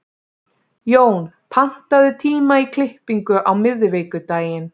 Jón, pantaðu tíma í klippingu á miðvikudaginn.